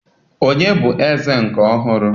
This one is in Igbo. Onye bụ eze nke ọhụrụ?